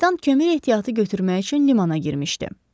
Kapitan kömür ehtiyatı götürmək üçün limana girmişdi.